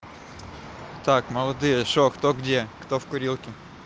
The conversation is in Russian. так молодые что кто где кто в курилке